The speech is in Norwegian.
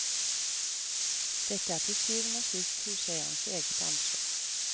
Dette er til syvende og sist huseierens eget ansvar.